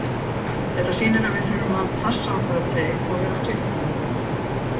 Þetta sýnir að við þurfum að passa okkur á þeim og vera tilbúnir.